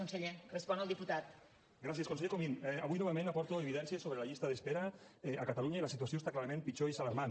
conseller comín avui novament aporto evidències sobre la llista d’espera a catalunya i la situació està clarament pitjor i és alarmant